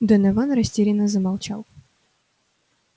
донован растерянно замолчал